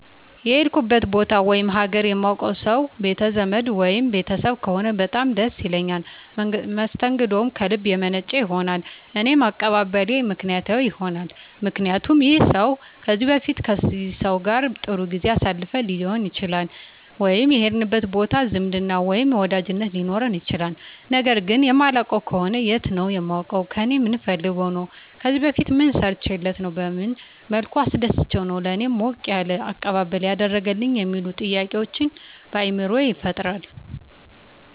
የሄድኩበት ቦታ ወይም ሀገር የማውቀው ሰው ቤት ዘመድ ወይም ቤተሰብ ከሆነ በጣም ደስ ይለኛል መስተንግደውም ከልብ የመነጨ ይሆናል እኔም አቀባበሌ ምክንያታዊ ይሆናልምክንያቱም ይህን ሰው ከዚህ በፊት ከዚህ ሰው ጋር ጥሩ ጊዜ አሳልፈን ሊሆን ይችላል ወይም የሄድንበት ቦታ ዝምድና ወይም ወዳጅነት ሊኖረን ይችላል ነገር ግን የማላውቀው ከሆነ የት ነው የማውቀው ከእኔ ምን ፈልጎ ነው ከዚህ በፊት ምን ሰርቸለት ነው በመን መልኩ አስደስቸው ነው ለእኔ ሞቅ ያለ አቀባበል ያደረገልኝ የሚሉ ጥያቄዎች በአይምሮየ ይፈጠራል